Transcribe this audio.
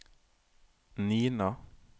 Nina